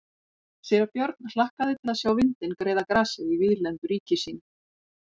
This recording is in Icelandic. Síra Björn hlakkaði til að sjá vindinn greiða grasið í víðlendu ríki sínu.